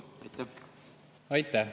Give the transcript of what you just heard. Aitäh!